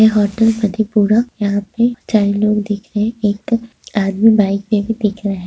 यह होटल मधेपुरा यहाँ पर दिख रहे हैं एक दो आदमी बाइक पे भी दिख रहा--